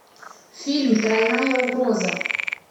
фильм тройная угроза